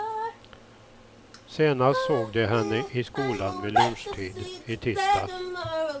Senast såg de henne i skolan vid lunchtid i tisdags.